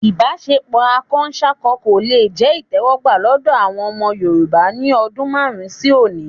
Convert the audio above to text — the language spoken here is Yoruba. Ìbáṣepọ̀ akọsákọ kò le jẹ́ ìtẹ́wọ́gbà lọ́dọ̀ àwọn ọmọ Yorùbá ní ọdún márùn-ún sí òní